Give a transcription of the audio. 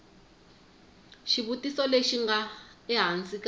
xivutiso lexi nga ehansi ka